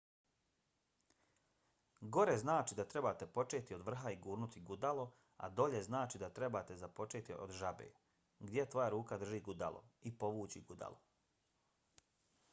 gore znači da trebate početi od vrha i gurnuti gudalo a dolje znači da trebate započeti od žabe gdje tvoja ruka drži gudalo i povući gudalo